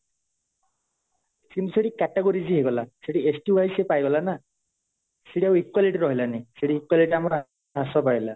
କିନ୍ତୁ ସେଇଠି categories ହିଁ ହେଇଗଲା ସେଇଠି ST wise ସେ ପାଇଗଲା ନା ସେଇଠି equality ଆଉ ରହିଲାନି ସେଇଠି equality ଆମର ହ୍ରାସ ପାଇଲା